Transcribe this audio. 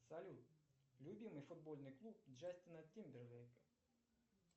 салют любимый футбольный клуб джастина тимберлейка